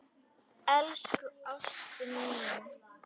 Elsku ástin mín.